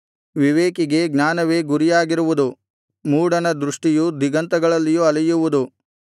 ವಿವೇಕಿಗೆ ಜ್ಞಾನವೇ ಗುರಿಯಾಗಿರುವುದು ಮೂಢನ ದೃಷ್ಟಿಯು ದಿಗಂತಗಳಲ್ಲಿಯೂ ಅಲೆಯುವುದು